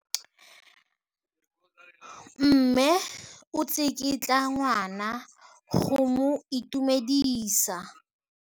Mme o tsikitla ngwana go mo itumedisa.